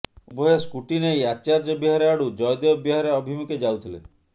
ଉଭୟ ସ୍କୁଟି ନେଇ ଆଚାର୍ଯ୍ୟବିହାର ଆଡୁ ଜୟଦେବ ବିହାର ଅଭିମୁଖେ ଯାଉଥିଲେ